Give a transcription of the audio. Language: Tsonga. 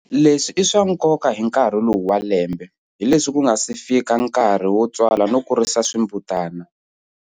Leswi i swa nkoka hi nkarhi lowu wa lembe, hi leswi ku nga si fika nkarhi yo tswala no kuirisa swimbutana.